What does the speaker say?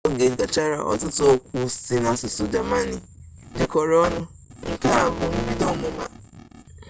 ka oge gachara ọtụtụ okwu si n'asụsụ jamani jikọrọ ọnụ nke a bu mbido ọmụma